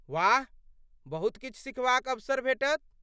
वाह! बहुत किछु सिखबाक अवसर भेटत।